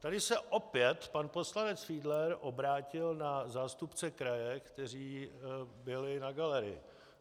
Tady se opět pan poslanec Fiedler obrátil na zástupce kraje, kteří byli na galerii.